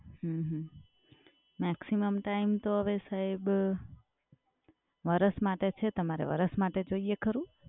હમ્મ હમ્મ. maximum time તો હવે સાહેબ, વર્ષ માટે છે તમારે વર્ષ માટે જોઈએ ખરું?